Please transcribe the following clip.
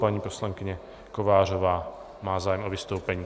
Paní poslankyně Kovářová má zájem o vystoupení.